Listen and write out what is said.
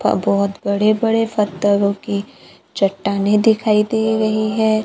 अ बहोत बड़े बड़े पत्थरों की चट्टानें दिखाई दे रही हैं।